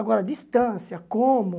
Agora, distância, como?